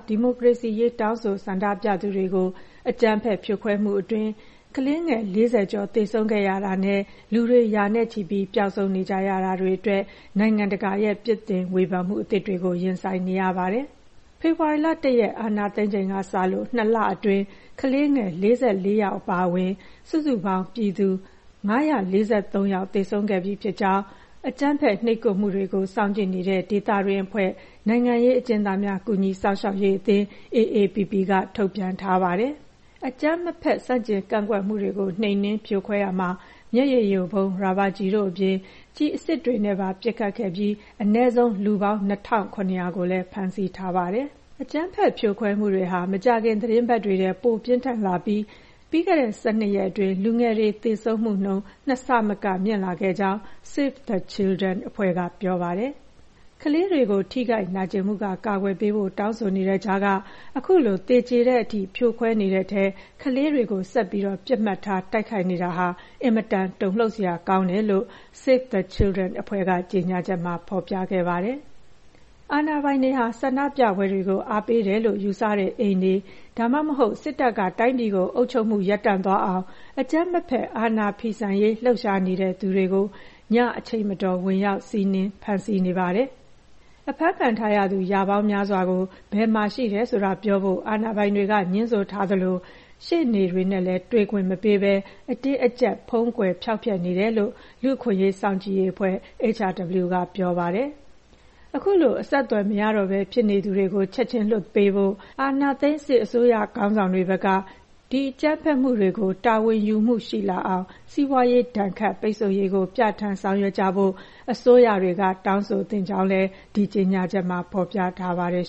ဒီမိုကရေစီရေး တောင်းဆိုဆန္ဒပြသူတွေကို မြန်မာအာဏာသိမ်း စစ်ကောင်စီက အကြမ်းဖက်ဖြိုခွဲမှုအတွင်း ကလေးငယ် ၄၀ ကျော်သေဆုံးခဲ့ရတာနဲ့ လူတွေ ရာနဲ့ချီပြီး ပျောက်ဆုံးနေကြရတာတွေအတွက် နိုင်ငံတကာက အပြင်းအထန် ပြစ်တင်ဝေဖန်နေပါတယ်။ ဖေဖေါ်ဝါရီလ ၁ ရက် အာဏာသိမ်းချိန်ကစလို့ ၂ လအတွင်း ကလေးငယ် ၄၄ ယောက်အပါအဝင် စုစုပေါင်း ပြည်သူ ၅၄၃ ယောက်သေဆုံးခဲ့ပြီးဖြစ်ကြောင်း နိုင်ငံရေးအကျဉ်းသားများ ကူညီစောင့်ရှောက်ရေးအသင်း (AAPP) က ထုတ်ပြန်ထားပါတယ်။ အကြမ်းမဖက် ဆန့်ကျင်ကန့်ကွက်မှုတွေကို နှိမ်နင်းဖြိုခွဲရာမှာ မျက်ရည်ယိုဗုံး၊ ရာဘာကျည်တို့အပြင် ကျည်အစစ်တွေနဲ့ပါ ပစ်ခတ်ခဲ့ပြီး အနည်းဆုံး လူပေါင်း ၂,၇၀၀ ကိုလည်း ဖမ်းဆီးထားပါတယ်။ အကြမ်းဖက်ဖြိုခွဲမှုတွေဟာ မကြာခင်သီတင်းပတ်တွေထဲ ပိုပြင်းထန်လာပြီး ပြီးခဲ့တဲ့ ၁၂ ရက်အတွင်း လူငယ်တွေ သေဆုံးမှုနှုန်း ၂ ဆမက မြင့်တက်လာခဲ့ကြောင်း Save the Children အဖွဲ့က ပြောပါတယ်။ ကလေးတွေကို ထိခိုက်နာကျင်မှုက ကာကွယ်ပေးဖို့ တောင်းဆိုနေတဲ့ကြားက အခုလို သေကြေတဲ့အထိ ဖြိုခွဲနေတဲ့ထဲ ကလေးတွေကို ဆက်ပြီး ပစ်မှတ်ထားတိုက်ခိုက်နေတာဟာ အင်မတန် တုန်လှုပ်စရာကောင်းပါတယ်လို့ Save the Children အဖွဲ့က ကြေညာချက်မှာ ဖော်ပြခဲ့ပါတယ်။ ဆန္ဒပြပွဲတွေကို အားပေးတယ်လို့ ယူဆတဲ့အိမ်တွေ၊ ဒါမှမဟုတ် စစ်တပ်က တိုင်းပြည်ကိုအုပ်ချုပ်မှု ရပ်တန့်သွားအောင် အကြမ်းမဖက် အာဏာဖီဆန်ရေး လှုပ်ရှားနေတဲ့သူတွေကို စစ်တပ်နဲ့ရဲက ညအချိန်မတော် ဝင်ရောက်စီးနင်းဖမ်းဆီးနေပါတယ်။ အဖမ်းခံထားရသူ ရာပေါင်းများစွာကို ဘယ်မှာရှိတယ်ဆိုတာပြောဖို့ အာဏာပိုင်တွေက ငြင်းဆိုသလို ရှေ့နေနဲ့လည်း တွေ့ခွင့်မပေးဘဲ အတင်းအကျပ် ဖုံးကွယ်ဖျောက်ဖျက်နေတယ်လို့ လူ့အခွင့်အရေး စောင့်ကြည့်အဖွဲ့ HRW က ပြောပါတယ်။ အခုလို အဆက်အသွယ်မရတော့ဘဲဖြစ်နေသူတွေကို ချက်ခြင်းလွှတ်ပေးဖို့၊ အာဏာသိမ်း စစ်အစိုးရခေါင်းဆောင်တွေဘက်က ဒီအကြမ်းဖက်မှုတွေကို တာဝန်ယူမှုရှိလာအောင် စီးပွါးရေးဒဏ်ခတ်ပိတ်ဆို့ရေးကို ပြဌာန်းဆောင်ရွက်ကြဖို့ အစိုးရတွေက တောင်းဆိုသင့်ကြောင်းလည်း ဒီကြေညာချက်မှာ ဖော်ပြထားပါတယ်